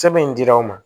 Sɛbɛn in dira anw ma